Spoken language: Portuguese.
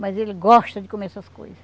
Mas ele gosta de comer essas coisas.